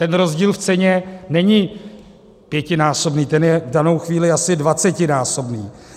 Ten rozdíl v ceně není pětinásobný, ten je v danou chvíli asi dvacetinásobný.